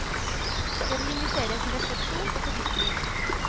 Jeg vil invitere til refleksjon og fordypning.